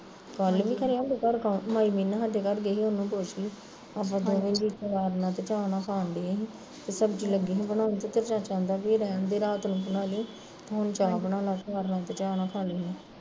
ਗੱਲ ਵੀ ਕਰਿਆ ਆ ਮਾਈ ਨਾ ਆਦੇ ਘਰੋਂ ਗਈ, ਉਹਨੂੰ ਪੁੱਛਦੀ ਆਪਾਂ ਦੋਵੇ ਜੀਅ ਆਚਾਰ ਤੇ ਚਾਹ ਨਾਲ਼ ਖਾਣ ਡਏ ਸੀ, ਤੇ ਸਬਜ਼ੀ ਲੱਗੀ ਸੀ ਬਣਉਣ ਤੇ ਤੇਰਾ ਚਾਚਾ ਕਹਿਣਦਾ ਵੀ ਰਹਿੰਦੇ ਰਾਤ ਨੂੰ ਬਣਾਲੀ, ਹੁਣ ਚਾਹ ਬਣਾ ਲਾ ਆਚਾਰ ਨਾਲ਼ ਖਾ ਲੈਂਦੇ ਆ